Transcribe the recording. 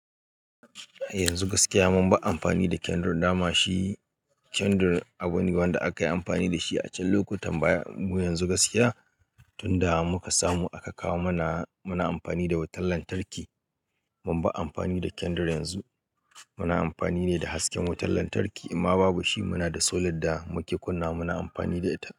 Yanzu gaskiya mun ba amfani da kendir, dama shi kendir abu ne wanda aka yi amfani da shi a can lokutan baya. Mu yanzu gaskiya tunda muka samu aka kawo mana, muna amfani da wutar lantarki. Mun ba amfani da kendir yanzu, muna amfani ne da hasken wutar lantarki. In ma babu shi, muna da solar da muke kunna muna amfani da ita.